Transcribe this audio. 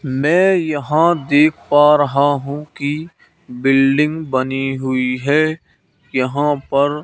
मैं यहां देख पा रहा हूं की बिल्डिंग बनी हुई है यहां पर--